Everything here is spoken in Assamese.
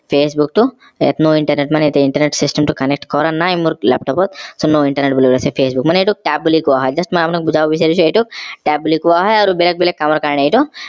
facebook টো no internet মানে internet system টো connect কৰা নাই মোৰ laptop ত so no internet বুলি ওলাইছে মানে এইটোক বুলি কোৱা হয়ম just মই আপোনাক বুজাব বিছাৰিছো এইটোক tab বুলি কোৱা হয় আৰু বেলেগ বেলেগ কামৰ কাৰণে এইটো